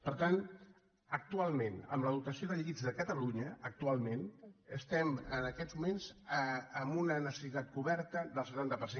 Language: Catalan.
per tant actualment amb la dotació de llits de catalunya actualment estem en aquests moments amb una necessitat coberta del setanta per cent